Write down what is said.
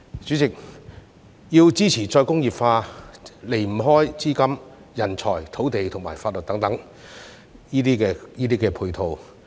主席，要支持再工業化，離不開資金、人才、土地及法律等配套。